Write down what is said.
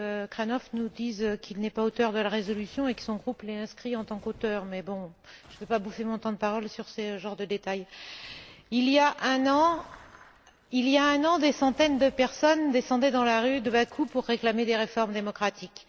Cabrnoch nous dise qu'il n'est pas auteur de la résolution et que son groupe l'ait inscrit en tant qu'auteur, mais bon, je ne vais pas bouffer mon temps de parole sur ce genre de détail. Il y a un an, des centaines de personnes descendaient dans les rues de Bakou pour réclamer des réformes démocratiques.